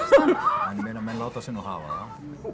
en menn láta sig nú hafa